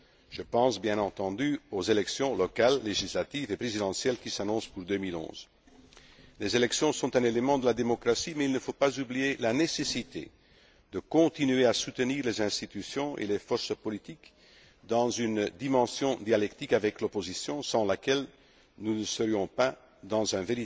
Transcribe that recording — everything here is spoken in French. Je pense bien entendu aux élections, locales, législatives et présidentielles qui s'annoncent pour 2011. Les élections sont un élément de la démocratie mais il ne faut pas oublier la nécessité de continuer à soutenir les institutions et les forces politiques dans une dimension dialectique avec l'opposition, sans laquelle nous ne serions pas dans